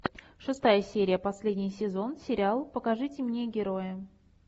шестая серия последний сезон сериал покажите мне героя